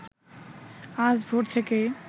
আজ ভোর থেকেই